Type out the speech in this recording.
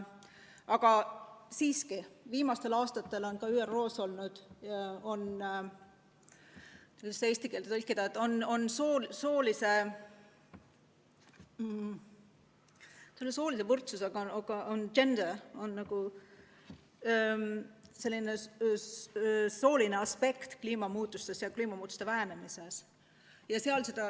Aga siiski, viimastel aastatel on ka ÜRO-s – kuidas see sõna eesti keelde tõlkida, gender – see sooline aspekt kliimamuutuste ja kliimamuutuste vähendamise aruteludes jutuks olnud.